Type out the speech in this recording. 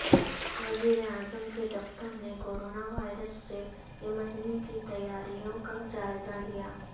وزیراعظم کے دفتر نے کورونا وائرس سے نمٹنے کی تیاریوں کا جائزہ لیا